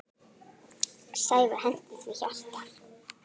Sævar henti því hjarta.